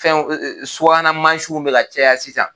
Fɛnw subahana mansinw bɛ caya sisan